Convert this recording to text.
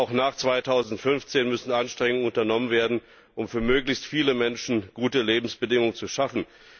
Auch nach 2015 müssen Anstrengungen unternommen werden, um für möglichst viele Menschen gute Lebensbedingungen zu schaffen.